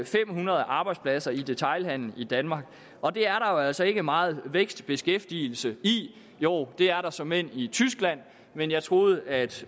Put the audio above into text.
fem hundrede arbejdspladser i detailhandelen i danmark og det er der jo altså ikke meget vækst og beskæftigelse i jo det er der såmænd i tyskland men jeg troede at